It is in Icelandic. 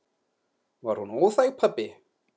Var hún óþæg, pabbi?